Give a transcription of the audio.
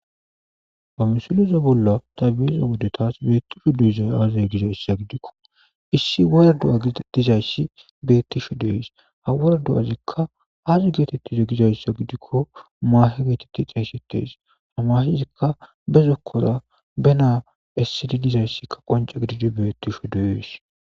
ba musileza bolla tabiyeza wode taas beettisho duiza aazez gizayssa gidikko issi worrdo7a dizayssi beettisho dees ha woredu7azikka aazi geetettize gidayssa gidikko maahe geetetti xeysettees hamaahezikka be zokkora be naa essidi dizayssikka qonca gididi beettisho deyees